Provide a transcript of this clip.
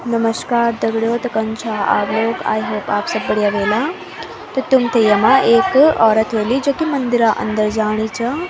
नमश्कार दग्ड़ियों त कन छौ आप आई होप आप सब बढ़िया ह्वेला त तुम्थे यमा एक औरत ह्वोली जो की मंदिरा अन्दर जाणी च।